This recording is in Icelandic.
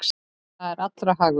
Það er allra hagur.